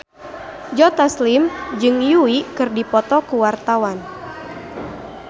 Joe Taslim jeung Yui keur dipoto ku wartawan